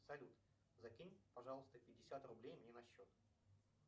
салют закинь пожалуйста пятьдесят рублей мне на счет